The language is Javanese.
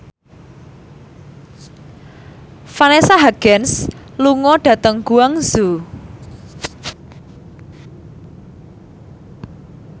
Vanessa Hudgens lunga dhateng Guangzhou